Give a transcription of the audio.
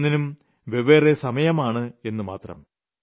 ഓരോന്നിനും വെവ്വേറെ സമയമാണെന്ന് മാത്രം